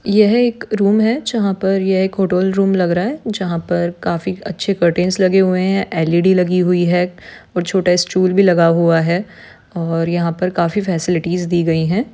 यहा एक रूम है जहाँ पर एक होटल रूम लग रहा है जहां पर काफी अच्छे कर्टन लगे हुए हैं एल_ई_डी लगी और छोटा स्टूल भी लगा हुआ है और यहाँ पर काफी फैसेलिटीज भी दी गई है।